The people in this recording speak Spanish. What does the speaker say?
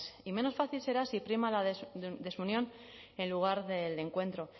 y menos fácil será si prima la desunión en lugar del encuentro